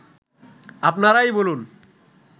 আপনারাই বলুন